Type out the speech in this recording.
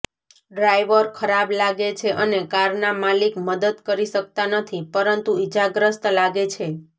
driver ખરાબ લાગે છે અને કારના માલિક મદદ કરી શકતા નથી પરંતુ ઇજાગ્રસ્ત લાગે છે